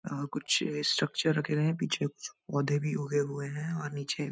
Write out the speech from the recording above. और कुछ स्ट्रक्चर रखे हुए हैं पीछे कुछ पौधे भी उगे हुए हैं और नीचे --